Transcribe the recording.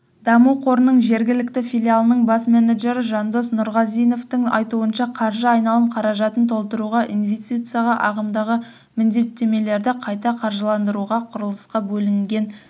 даму қорының жергілікті филиалының бас менеджері жандос нұрғазиновтың айтуынша қаржы айналым қаражатын толтыруға инвестицияға ағымдағы міндеттемелерді қайта қаржыландыруға құрылысқа бөлінген